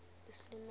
isilimela